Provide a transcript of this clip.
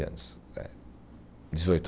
dezoito.